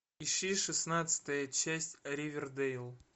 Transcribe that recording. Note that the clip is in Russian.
ищи шестнадцатая часть ривердейл